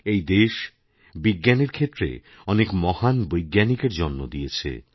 এই দেশ বিজ্ঞানের ক্ষেত্রে অনেক মহানবৈজ্ঞানিকের জন্ম দিয়েছে